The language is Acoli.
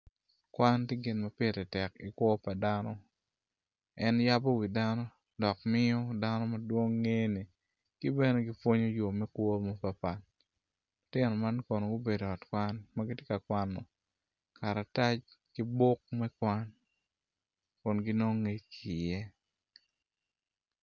Kwan tye gin ma pire tek i kwo pa dano en yabo wi dano dok weko dano madwong ngene kibene pwonyo yo me kwo mapatpat.